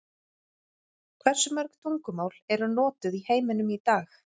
Hversu mörg tungumál eru notuð í heiminum í dag?